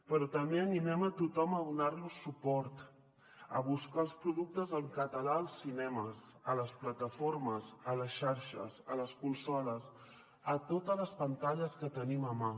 però també animem a tothom a donar·los suport a buscar els productes en ca·talà als cinemes a les plataformes a les xarxes a les consoles a totes les pantalles que tenim a mà